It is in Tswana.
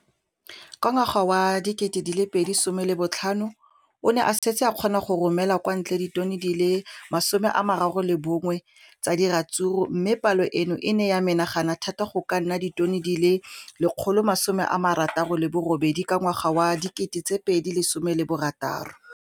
Ka ngwaga wa 2015, o ne a setse a kgona go romela kwa ntle ditone di le 31 tsa ratsuru mme palo eno e ne ya menagana thata go ka nna ditone di le 168 ka ngwaga wa 2016.